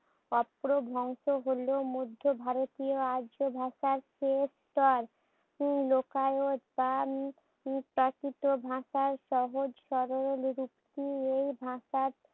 অপ্রভ্রংশ হলেও মধ্য ভারতীয় আর্য ভাষার সেই স্তর প্রাকৃত ভাষায় সহজ-সরল দ্বিরুক্তি এই ভাষার